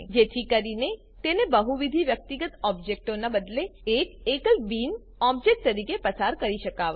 જેથી કરીને તેને બહુવિધ વ્યક્તિગત ઓબ્જેક્ટોનાં બદલે એક એકલ બીન ઓબ્જેક્ટ તરીકે પસાર કરી શકાવાય